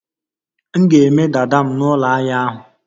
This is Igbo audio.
M ga-eme dada m na ụlọahia ahu